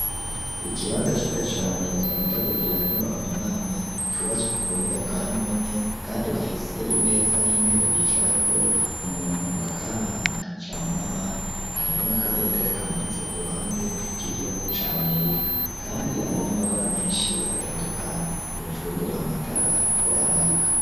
Ikibanza ciza cane, bakunda kugiriramwo, amanama, cubatswe ku buhinga, bwa none, kandi bafise imeza n'intebe, bicarako, umuntu bagahanahana ijambo n'abandi; hariho n'akabendera, kamanitse ku ruhande, k'igihugu ca amerika; kandi hari n'amabara menshi, atandukanye; hejuru, amatara ariko araka.